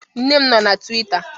Nne m nọọ na Twịta